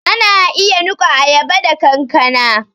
Ana iya niƙa ayaba da kankana